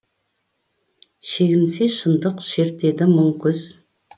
шегінсе шындық шертеді мұң күз